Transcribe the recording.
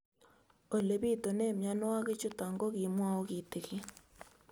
Ole pitune mionwek chutok ko kimwau kitig'�n